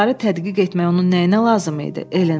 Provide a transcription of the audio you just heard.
adaları tədqiq etmək onun nəyinə lazım idi?